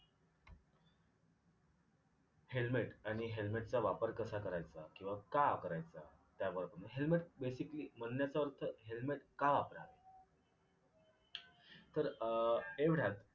helmet आणि helmet चा वापर कसा करायचा? किंवा का करायचा याबाब helmet basically बोलण्याचा अर्थ helmet का वापरा. तर अ एवढ्यात